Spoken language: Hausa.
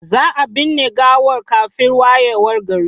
Za a binne gawar kafin wayewar gari.